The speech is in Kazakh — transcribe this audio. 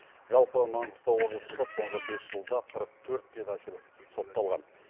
жалпы маңғыстау облысында соңғы бес жылда қырық төрт педофил сотталған